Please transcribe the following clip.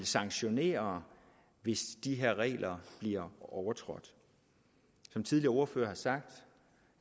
sanktionere hvis de her regler bliver overtrådt som tidligere ordførere har sagt